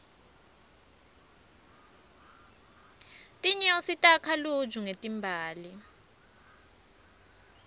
tinyosi takha luju ngetimbali